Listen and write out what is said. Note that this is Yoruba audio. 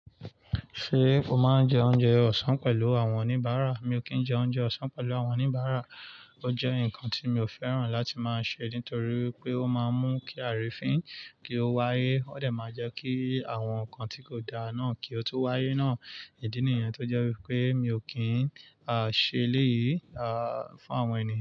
Ṣé o máa ń jẹ oúnjẹ ọ̀sán pẹ̀lú àwọn oníbàárà? Mi ò kì í jẹ oúnjẹ ọ̀sán pẹ̀lú àwọn oníbàárà. Ó jẹ́ ǹkan tí mi ò fẹ́ràn láti máa ṣe nítorí pé ó máa ń mú kí àrifìn kí ó wáyé. Ó dẹ̀ máa jẹ́ kí àwọn ǹkan tí kò dá náà kí ó tun wáyé náà. Ìdí nìyẹn tó jẹ́ wipé mi ò kín ṣẹlẹ̀ yìí, à, fún àwọn ènìyàn.